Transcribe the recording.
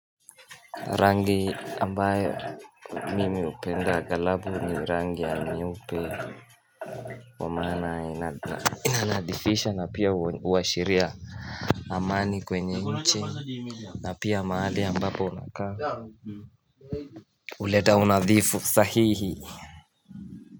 Rangi ambayo mimi hupenda agalabu ni rangi ya nyeupe kwa maana inanadhifisha na pia huashiria amani kwenye nchi na pia mahali ambapo unakaa huleta unadhifu sahihi.